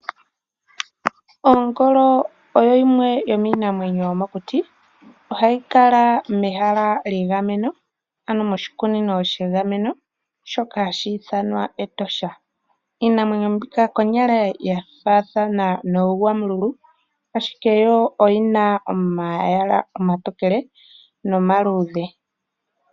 Ongolo oyo yimwe yomiinamwenyo yomokuti . Ohayi kala mehala lyegameno ano moshikunino shegameno shoka hashi ithanwa Etosha National Park . Iinamwenyo mbika konyala oya faathana nooGwamululu , ashike yo oyina omayala omatokele nomaluudhe.